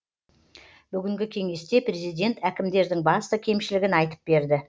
бүгінгі кеңесте президент әкімдердің басты кемшілігін айтып берді